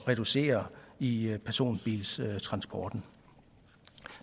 reducere i personbiltransporten